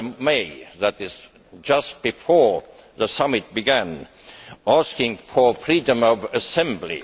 May that is just before the summit began asking for freedom of assembly.